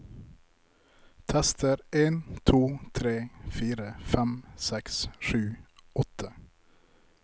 Tester en to tre fire fem seks sju åtte